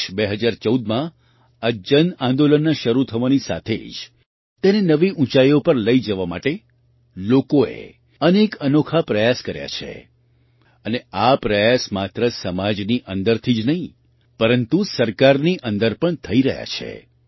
વર્ષ 2014માં આ જન આંદોલનના શરૂ થવાની સાથે જ તેને નવી ઊંચાઈઓ પર લઈ જવા માટે લોકોએ અનેક અનોખા પ્રયાસ કર્યા છે અને આ પ્રયાસ માત્ર સમાજની અંદરથી જ નહીં પરંતુ સરકારની અંદર પણ થઈ રહ્યા છે